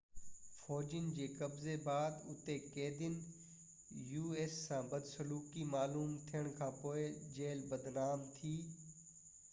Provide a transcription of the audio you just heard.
us فوجين جي قبضي بعد اتي قيدين سان بدسلوڪي معلوم ٿيڻ کانپوءِ جيل بدنام ٿي